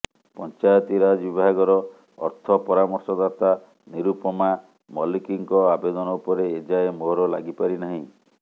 ପଞ୍ଚାୟତିରାଜ ବିଭାଗର ଅର୍ଥ ପରାମର୍ଶଦାତା ନିରୂପମା ମଲ୍ଲିକଙ୍କ ଆବେଦନ ଉପରେ ଏଯାଏ ମୋହର ଲାଗିପାରିନାହିଁ